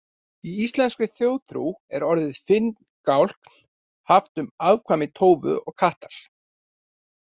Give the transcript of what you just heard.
Í íslenskri þjóðtrú er orðið finngálkn haft um afkvæmi tófu og kattar.